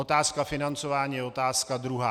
Otázka financování je otázka druhá.